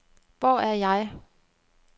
Hvor er jeg